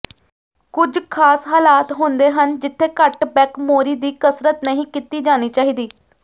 ਕੁਝ ਖਾਸ ਹਾਲਾਤ ਹੁੰਦੇ ਹਨ ਜਿੱਥੇ ਘੱਟ ਬੈਕ ਮੋਰੀ ਦੀ ਕਸਰਤ ਨਹੀਂ ਕੀਤੀ ਜਾਣੀ ਚਾਹੀਦੀ